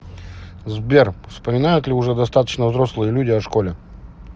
сбер вспоминают ли уже достаточно взрослые люди о школе